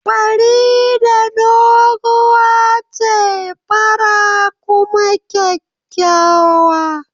Farida doguwa ce, fara kuma kyakkyawa